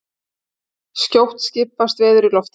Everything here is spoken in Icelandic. Skjótt skipast veður í lofti